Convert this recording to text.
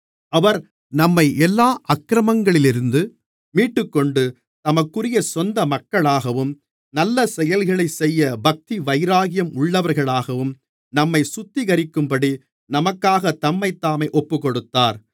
அவர் நம்மை எல்லா அக்கிரமங்களிலிருந்து மீட்டுக்கொண்டு தமக்குரிய சொந்த மக்களாகவும் நல்லசெயல்களைச் செய்ய பக்திவைராக்கியம் உள்ளவர்களாகவும் நம்மைச் சுத்திகரிக்கும்படி நமக்காகத் தம்மைத்தாமே ஒப்புக்கொடுத்தார்